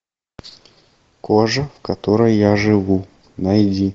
кожа в которой я живу найди